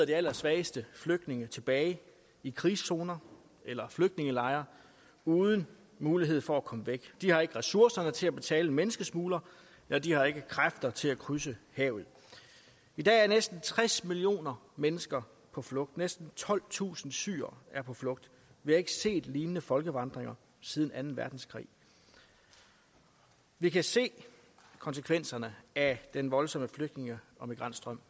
de allersvageste flygtninge sidder tilbage i krigszoner eller flygtningelejre uden mulighed for at komme væk de har ikke ressourcerne til at betale en menneskesmugler eller de har ikke kræfter til at krydse havet i dag er næsten tres millioner mennesker på flugt og næsten tolvtusind syrere er på flugt vi har ikke set lignende folkevandringer siden anden verdenskrig vi kan se konsekvenserne af den voldsomme flygtninge og migrantstrøm